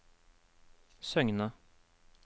Søgne